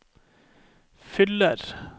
fyller